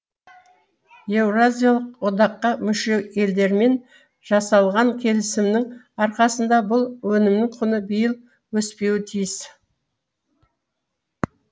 еуразиялық одаққа мүше елдермен жасалған келісімнің арқасында бұл өнімнің құны биыл өспеуі тиіс